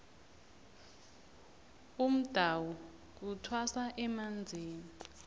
umdawu kuthwasa emanzini